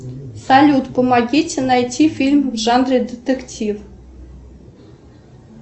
салют помогите найти фильм в жанре детектив